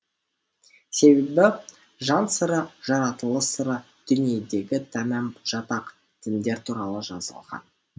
себебі жан сыры жаратылыс сыры дүниедегі тәмам жатақ діндер туралы жазылған